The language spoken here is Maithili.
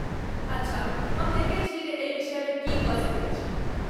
अच्छा, हम देखैत छी जे एहि विषयमे की कऽ सकैत छी।